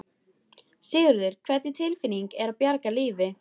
Sigurður: Hvernig tilfinning er að bjarga lífi?